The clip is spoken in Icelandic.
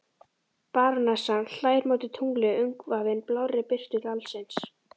Barónessan hlær móti tungli umvafin blárri birtu dalsins.